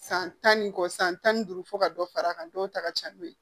San tan ni kɔ san tan ni duuru fo ka dɔ far'a kan dɔw ta ka ca n'o ye